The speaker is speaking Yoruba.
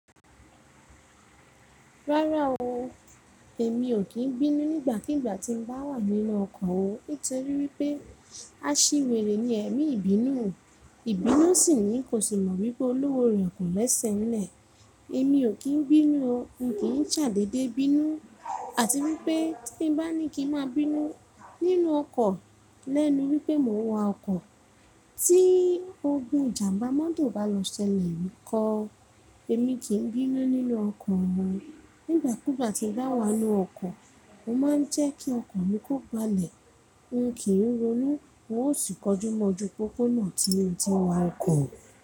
Rárá o, èmi ò kí i bínú nígbàkigbà tí n bá wà nínú ọkọ̀ o. Nítorí wípé aṣiwèrè ni ẹ̀mí ìbínú. Ìbínú sì ní kò si mọ̀ wípé olówó rẹ̀ kò lẹ́sẹ̀ ńlẹ̀. Èmi ò kí i bínú o. N kì n ṣadede bínú. Àti wípé tí n bá ní kí n máa bínú nínú ọkọ̀ lẹ́nu wípé mò ń wa ọkọ̀, tí ogun ìjàmbá mọ́tò bá lọ sẹlẹ̀ níko, èmi kì í bínú nínú ọkọ̀ o. Nígbàkigbà tí n bá wà nínú ọkọ̀, mo máa ń jẹ́ kí ọkan mi kó gbálẹ̀. N kì í ronú. Mo ó sì kọjúmọjú pópónà tí ó ti wa ọkọ̀